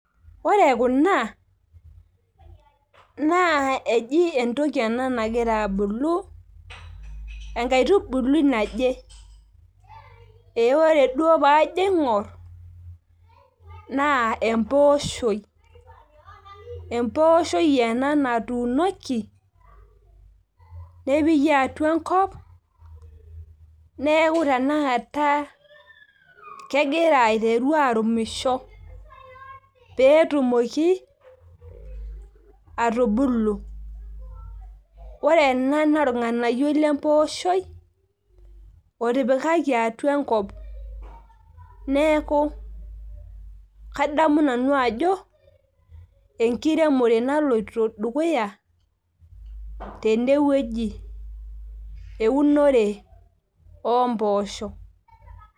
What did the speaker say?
ore kuna na eji entoki ena nangira abulu, enkaitubului naje ee ore duo pajo aingorr, na emposhoi, emposhoi ena natunoki, nepiki atua enkop, niaku tenekata kengira aiteru arumisho, petumoki atubulu ore ena na olnganayioi lemposhoi otipikaki atua enkop niaku kadamu nanu ajo enkiremore naloito dukuya, tene weuji eunore emposho.